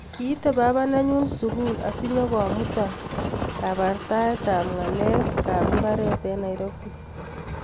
Kiite baba nenyu sugul asinyigomuta kabrtaet tab ngalek kab mbaret eng Nairobi